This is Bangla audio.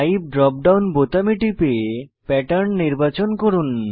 টাইপ ড্রপ ডাউন বোতামে টিপে প্যাটার্ন নির্বাচন করুন